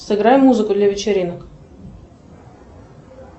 сыграй музыку для вечеринок